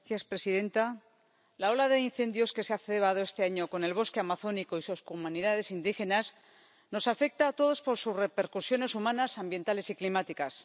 Señora presidenta, la ola de incendios que se ha cebado este año con el bosque amazónico y sus comunidades indígenas nos afecta a todos por sus repercusiones humanas, ambientales y climáticas.